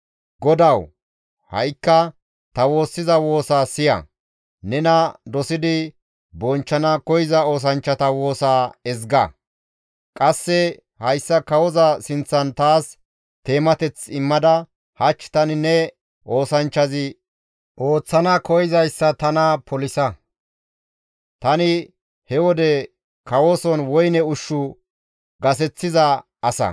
Godawu! Ha7ikka ta woossiza woosaa siya; nena dosidi bonchchana koyza oosanchchata woosa ezga; qasse hayssa kawoza sinththan taas teemateth immada hach tani ne oosanchchazi ooththana koyzayssa taas polisa.» Tani he wode kawoson woyne ushshu gaseththiza asa.